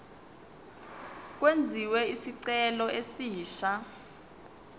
kwenziwe isicelo esisha